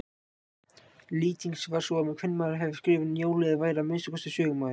Lýtings var sú að kvenmaður hefði skrifað Njálu eða væri að minnsta kosti sögumaður.